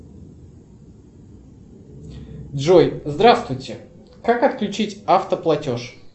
джой здравствуйте как отключить автоплатеж